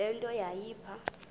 le nto yayipha